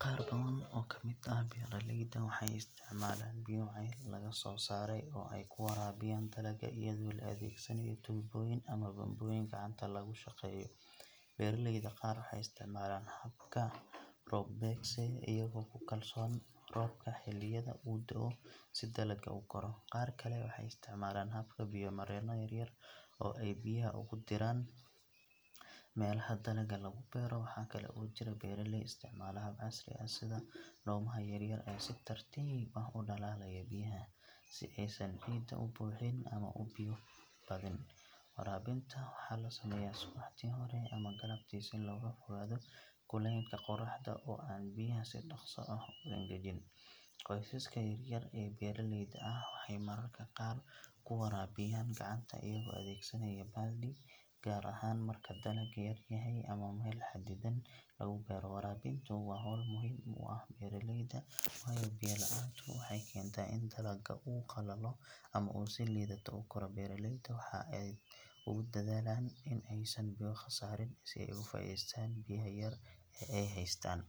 Qaar badan oo ka mid ah beeraleyda waxay isticmaalaan biyo ceel laga soo saaray oo ay ku waraabiyaan dalagga iyadoo la adeegsanayo tuubooyin ama bambooyin gacanta lagu shaqeeyo. Beeraleyda qaar waxay isticmaalaan habka roob-beegsiga, iyagoo ku kalsoon roobka xilliyada uu da’o si dalagga u koro. Qaar kale waxay isticmaalaan habka biyo-mareenno yaryar oo ay biyaha ugu diraan meelaha dalagga lagu beero. Waxa kale oo jira beeraley isticmaala hab casri ah sida dhuumaha yaryar ee si tartiib ah u dhalaalaya biyaha, si aysan ciidda u buuxin ama u biyo badin. Waraabinta waxa la sameeyaa subaxdii hore ama galabtii si looga fogaado kulaylka qorraxda oo aan biyaha si dhakhso ah u engejin. Qoysaska yar yar ee beeraleyda ah waxay mararka qaar ku waraabiyaan gacanta iyagoo adeegsanaya baaldi, gaar ahaan marka dalagga yar yahay ama meel xaddidan lagu beero. Waraabintu waa hawl muhiim u ah beeraleyda, waayo biyo la’aantu waxay keentaa in dalagga uu qalalo ama uu si liidata u koro. Beeraleyda waxay aad ugu dadaalaan in aysan biyo khasaarin si ay uga faa’iideystaan biyaha yar ee ay haystaan.